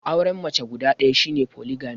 Auren mace guda ɗaya shi ne Foligami.